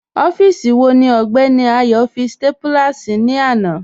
Ọfíìsí wọ̀ ní Ọgbẹni Ayo fí stápúlà sí ilẹ̀ làna?